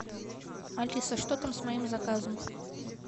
алиса что там с моим заказом